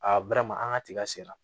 A an ka tiga sera